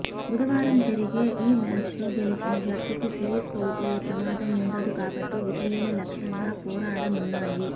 బుధవారం జరిగే ఈ మ్యాచ్లో గెలిచిన జట్టుకు సిరీస్ కోల్పోయే ప్రమాదం ఉండదు కాబట్టి విజయమే లక్ష్యంగా పోరాడనున్నాయి